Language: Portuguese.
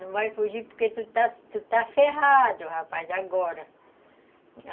Não vai fugir porque tu está está ferrado, rapaz, agora.